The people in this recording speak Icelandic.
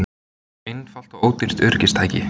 Einfalt og ódýrt öryggistæki